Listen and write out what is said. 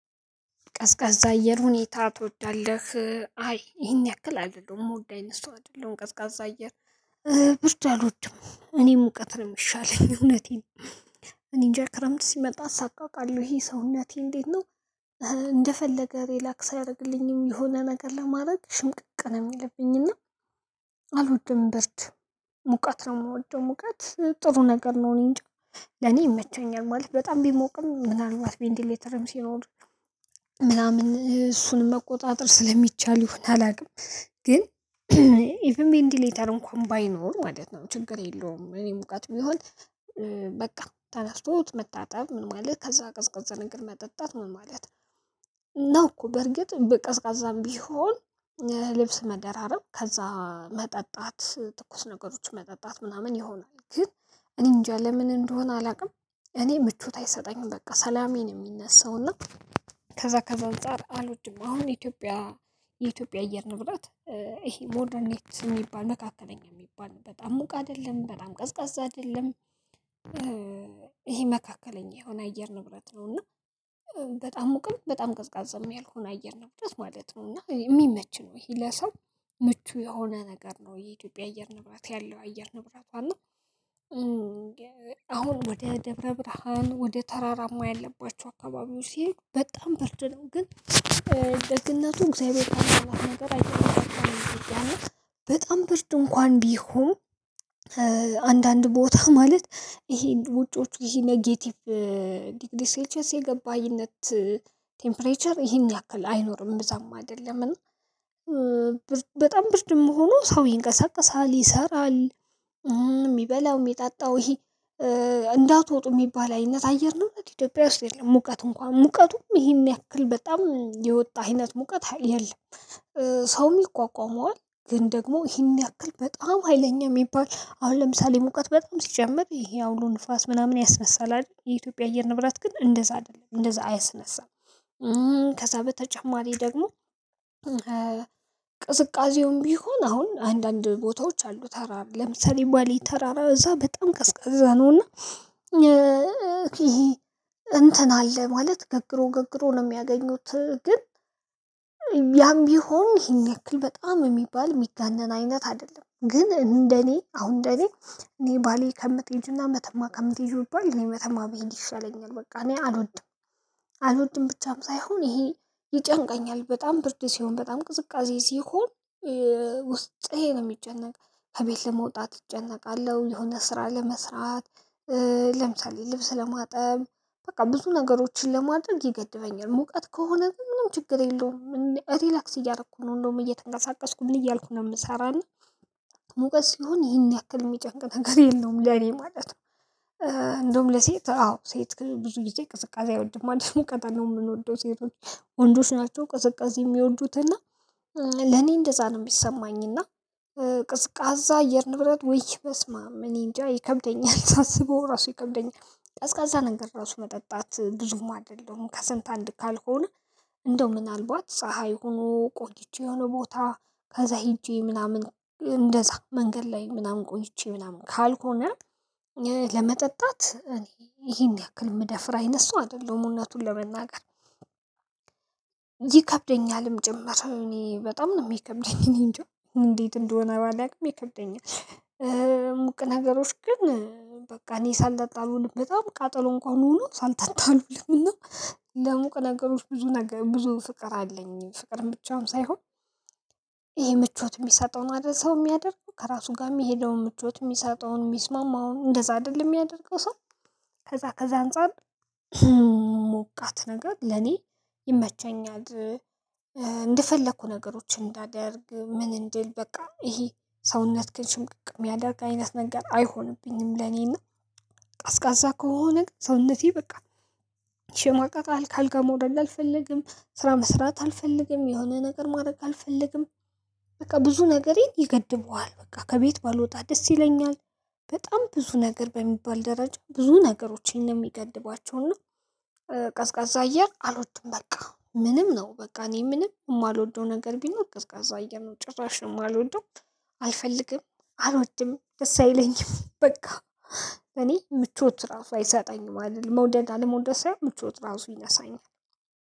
ቀዝቃዛ አየር ሁኔታ ትወዳለህ? አይ ይሄን ያክል አይደለሁም የምወድቅ አይደለም ቀዝቃዛ አየር ብርድ አልወድም እኔ ሙቀት ሚሻለኝ እዉነቴን ነው። እኔ እንጃ ክረምት ሲመጣ እሳቀቃለሁኝ ሰውነቴ እትዴት ነው። እንደፈለግ ሪላክስ አያረግልኝም የሆነ ነገር ለማረግ ሽምቅቅ ሚልብኝ እና አልወድም። ብርድ ሙቀት ነው የምወደው። ሙቀት ጥሩ ነገር ነው እኔ እንጃ ለኔ ይመቸኛል ማለት በጣም ቢሞቅም ምናልባት ቬንቲ ሌተርም ሲኖር ምናምን እሱን መቆጣጠር ስለሚቻል ሆነ አላውቅም። ግን ኢቭን ቬንቲ ሌተር እንኳን ባይኖር ማለት ነው ችግር የለውም። እኔ ሙቅት ቢሚሆን በቃ ተነስቶ መታጠብ ምን ማለት ከዛ ቀዝቀዛ ነገር መጠጣት ምን ማለት ነው። እኮ በእርግጥ በቀዝቃዛም ቢሆን ለብስ መደራረብ ከዛ መጠጣት ትኩስ ነገሮች መጠጣት ምናምን ይሆናል። ግን እኔ እንጃ ለምን እንደሆነ አላውቅም እኔ ምቾት አይሰጠኝም በቃ ሰላሜን የሚነሳው እና ከዛ ከዛ አንፃር አልወድም። አሁን ኢትዮጲያ የኢትዮጲያ አየር ንብረት እሄ ሞደርኔት ሚባል መካከለኛ ሚባልበት ሙቅ አይደለም በጣም ቀዝቃዛ አይደለም። ይሄ መካከለኛ የሆነ አየር ንብረት ነው እና በጣም ሙቅም በጣም ቀዝቃዛ ያልሆነ አየር ንብረት ማለት ነው። እና ሚመችም ለሰው ምቹ የሆነ ነገር የአትዮጲያ አየር ንብረት ያለው አየር ንብረት። አሁን ወደ ደብረ ብርሃን ወደ ተራራማ ያለባቸው አካባቢው ሲሄድ በጣም ብርድ ነው። ግን ደግነቱ እግዚአብሔር አይደለም ነገር አይደለም በጣም ብርድ ድንኳን ቢሆን አንዳንድ ቦታ ማለት ይሄ ውጪዎች ይሄ ኔጌቲቭ ዲግሪ ሴልሸስ የገባኝነት ቴምፕሬቸር ይሄን ያክል አይኖርም ብዛም አይደለም። እና ብርድም ሆኖ ሰው ይንቀሳቀሳል፣ ይሰራል፣ የሚበላው የሚጣጣው ይሄ እንዳትወጡ የሚባል አይነት አየር ነው ኢትዮጵያ ውስጥ የለም። ሙቀት እንኳን ሙቀቱም ይሄን ያክል በጣም የወጣ አይነት ሙቀት የለም። ሰውም ይቋቋመዋል ግን ደግሞ ይሄን ያክል በጣም ሀይለኛ የሚባል አሁን ለምሳሌ ሙቀት በጣም ሲጨመቅ ይሄ አውሎ ንፋስ ምናምን ያስነሳል አይደል? የኢትዮጵያ አየር ንብራት ግን እንደዛ አይደለም እንደዛ አያስነሳም። ከዛ በተጨማሪ ደግሞ ቅዝቃዜውም ቢሆን አሁን አንዳንድ ቦታዎች አሉ ተራራ ለምሳሌ ባሌ ተራራ እዛ በጣም ቀዝቃዛ ነውና። እትን አለ ማለት ገግሮ ገግሮ ሚያገኙት ግን ያም ቢሆን ይህን ያክል በጣም ሚባል ሚጋነን አይነት አይደለም። ግን እንደ እኔ ባሌ ከምትሄድ እና መተማ ከሚትሄጅው ብባል እኔ መተማ ብሄድ ይሻለኛል እና አልወድም። አልወድም ብቻም ሳይሆን ይሄ ይጨንቀኛል። በጣም ብርድ ሲሆን በጣም ቅዝቃዜ ሲሆን ውስጥህን ነው የሚጨነቅ ከቤት ለመውጣት እጨነቃለሁ፣ የሆነ ስራ ለመስራት፣ ለምሳሌ ልብስ ለማጠብ በቃ ብዙ ነገሮችን ለማድረግ ይገድበኛል። ሙቀት ከሆነ ግን ምንም ችግር የለውም ሪላክስ እያደርኩ እንዲያውም ምን እያልኩ ምሰራ ሙቀት ሲሆን ይሄን ያክል የሚጨንቅ ነገር የለውም ለኔ ማለት ነው። እንደውም ለሴት አዎ ሴት ብዙ ጊዜ ቅስቀሳ አይወድም አንድ ሙቀት ነው የምንወደው ሴቶች ወንዶች ናቸው ቅዝቃዜ የሚወዱት እና። ለኔ እንደዛ ነው የሚሰማኝ። እና ቅዝቃዛ አየር ንብረት ወይ በስማም እኔንጃ ይከብደኛል። አስበው ራሱ ይከብደኛል ቀዝቃዛ ነገር ራሱ መጠጣት ብዙም አይደለም ከስንት አንድ ካልሆነ። እንደው ምናልባት ፀሀይ ሆኖ ቆይቼ የሆነ ቦታ ከዛ ሄጄ ምናምን እንደዛ መንገድ ላይ ምናምን ቆይቼ ምናምን ካልሆነ። ለመጠጣት ይሄን ያክል ምደፍራ አይነት ሰው አይደለም። እውነቱን ለመናገር። ይከብደኛልም ጀመረ እኔ በጣም ነው የሚከብደኝ እኔን እንጂ እንዴት እንደሆነ አላውቅም ይከብደኛል። ሙቅ ነገሮች ግን በቃ እኔ ሳልጣጣ አንዉልም በጣም ቃጠሎ እንኳን ሆኖ ሳልጠጣ አንውልም እና ለሙቅ ነገሮች ብዙ ነገር ብዙ ፍቅር አለኝ። ፍቅር ብቻውን ሳይሆን ይሄ ምቾት የሚሰጠውን አደርሰው የሚያደርግ ከራሱ ጋር የሚሄደውን ምቾት የሚሰጠውን የሚስማማውን እንደዛ አይደለም የሚያደርገው ሰው። ከዛ ከዛ አንፃር ሞቃት ነገር ለእኔ ይመቸኛል። እንደፈለኩ ነገሮችን እንዳደርግ ምን እንደል በቃ ይሄ ሰውነትህን ሽምቅቅ ሚያደርግ ነገር አይሆንብኝም። ለእኔ እና ቅዝቃዛ ከሆነ ሰውነቴ በቃ ሲሞቅ አልጋ መውርድ አልፈልግም ስራ መስራት አልፈልግም የሆነ ነገር ማድረግ አልፈልግም። በቃ ብዙ ነገሬን ይገድበዋል በቃ ከቤት ባልወጣ ደስ ይለኛል። በጣም ብዙ ነገር በሚባል ደረጃ ብዙ ነገሮችን ነው የሚገድባቸውና። ቀዝቃዛ አየር አሎችም በቃ ምንም ነው በቃ እኔ ምንም የማልወደው ነገር ቢል ቀዝቃዛ አየር ነው ጭራሽ ነው የማልወድም። አልፈልግም አልወድም ደስ አይለኝም በቃ እኔ ምቾት ራሱ አይሰጣኝም አልልም መውደድ አለመውደድ ሳይሆን ምቾት ራሱ ይነሳኛል።